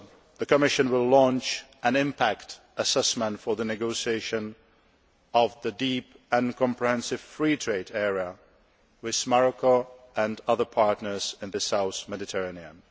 The Commission will also launch an impact assessment for the negotiation of the Deep and Comprehensive Free Trade area with Morocco and other partners in the southern Mediterranean.